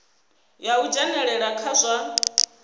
ya u dzhenelela kha zwa